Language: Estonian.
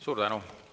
Suur tänu!